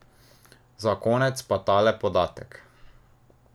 Za konec pa tale podatek.